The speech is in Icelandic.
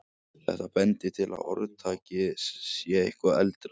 Þetta bendir til að orðtakið sé eitthvað eldra.